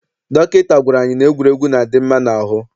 Dọkịta gwara anyị na egwuregwu na-adị mma n'ahụ.